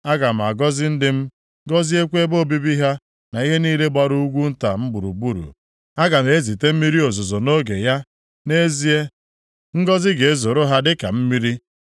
Aga m agọzi ndị m, gọziekwa ebe obibi ha na ihe niile gbara ugwu nta m gburugburu. Aga m ezite mmiri ozuzo nʼoge ya, nʼezie, ngọzị ga-ezoro ha dịka mmiri.